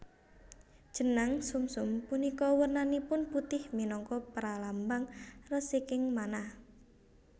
Jenang sumsum punika wernanipun putih minangka pralambang resiking manah